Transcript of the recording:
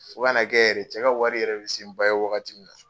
Fo ka na kɛ yɛrɛ, cɛ ka wari yɛrɛ bi se ban ye wagati min na